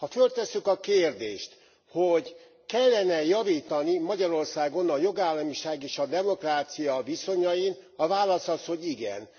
Ha föltesszük a kérdést, hogy kellene e javítani Magyarországon a jogállamiság és a demokrácia viszonyain, a válasz az, hogy igen.